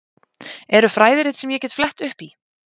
Eru fræðirit sem ég get flett upp í?